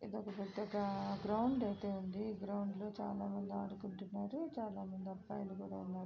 ఇదొక పెద్ద గ్రౌండ్ అయితే ఉంది. ఈ గ్రౌండ్లో చాలామంది ఆడుకుంటున్నారు చాలామంది అబ్బాయిలు కూడా ఉన్నారు.